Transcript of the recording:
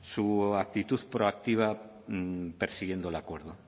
su actitud proactiva persiguiendo el acuerdo